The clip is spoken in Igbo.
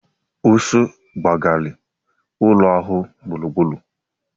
Ụsụ gbaghari ụlọ ahụ gburugburu.